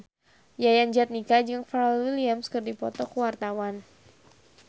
Yayan Jatnika jeung Pharrell Williams keur dipoto ku wartawan